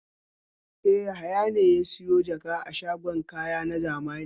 E, Yahaya ne ya sayo jaka a shagon kaya na zamani.